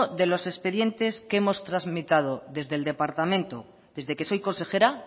de los expedientes que hemos tramitado desde el departamento desde que soy consejera